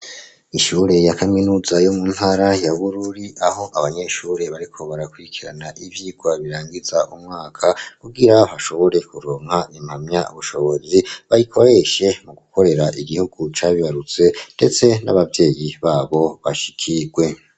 Ishure ya kaminuza yo mu ntara ya Bururi aho abanyeshure bariko barakurikirana ivyigwa birangiza umwaka kubwira hashobore kuronka impamya ubushobozi bayikoreshe mu gukorera igihugu cabibarutse ndetse n'abavyeyi babo bashikirwe.